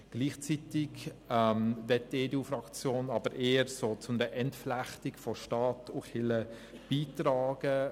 Andererseits möchte die EDU-Fraktion gleichzeitig aber eher zu einer Entflechtung von Staat und Kirche beitragen.